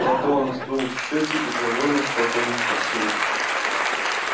потом сдул щёки и довольно спокойно спросил